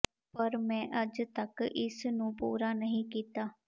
ਪਰ ਮੈਂ ਅਜੇ ਤੱਕ ਇਸ ਨੂੰ ਪੂਰਾ ਨਹੀਂ ਕੀਤਾ